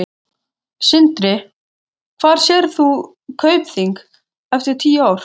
Sindri: Hvar sérð þú Kaupþing eftir tíu ár?